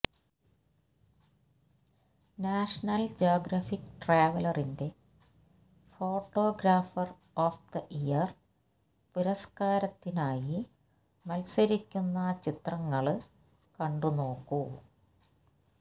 national Geographic ട്രാവലറിന്റെ photographer of the year പുരസ്കാരത്തിനായി മല്സരിക്കുന്ന ചിത്രങ്ങള് കണ്ടുനോക്കൂ